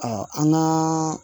an ŋaa